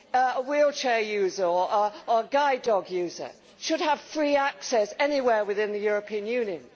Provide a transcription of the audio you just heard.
EU. A wheelchair user or a guide dog user should have free access anywhere within the European Union.